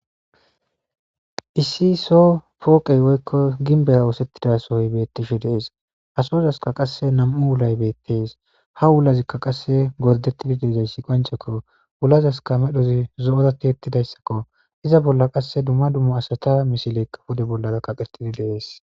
issi so pooqey woykko ginbeya woosettida sohoy beettishe dees asozaska qasse nam7u ulay beettees ha wulazikka qasse gordettidi deezayssi qonchekko wulazaska medhozi zo7ozati ettidayssakko iza bolla qasse dumma dummu asata misileykka pude bollaza kaqettidi deees